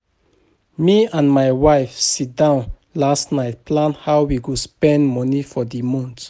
Me and my wife sit down last night plan how we go spend money for the month